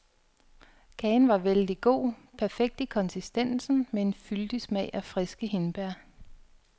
Kagen var vældig god, perfekt i konsistensen med en fyldig smag af friske hindbær.